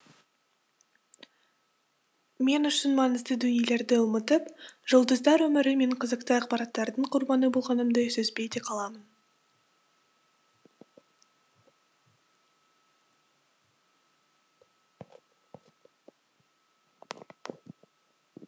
мен үшін маңызды дүниелерді ұмытып жұлдыздар өмірі мен қызықты ақпараттардың құрбаны болғанымды сезбей де қаламын